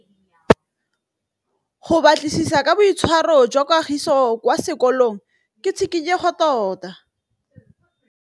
Go batlisisa ka boitshwaro jwa Kagiso kwa sekolong ke tshikinyêgô tota.